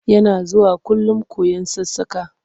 Yana zuwakullum koyon sassaƙa.